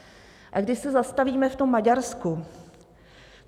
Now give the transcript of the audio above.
A když se zastavíme v tom Maďarsku.